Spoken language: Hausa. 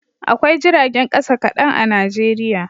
Akwai jiragen kasa kadan a Najeriya